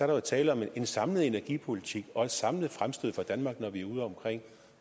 der jo tale om en samlet energipolitik og et samlet fremstød for danmark når vi er udeomkring